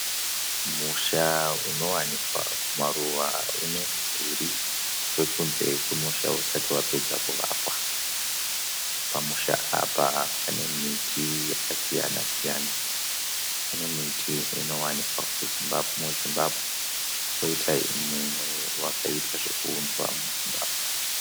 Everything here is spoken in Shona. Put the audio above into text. Musha unowanikwa kumaruva unemudhiri wekudze kwemusha usati tapedza kuvakwa. Pamusha apa panemiti yakasiyana siyana. Pane miti inowanikwa muZimbabwe nemimwe yakaita zvekuudzwa muZimbabwe.